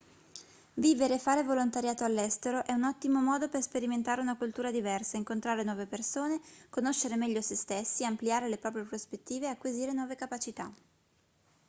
vivere e fare volontariato all'estero è un ottimo modo per sperimentare una cultura diversa incontrare nuove persone conoscere meglio se stessi ampliare le proprie prospettive e acquisire nuove capacità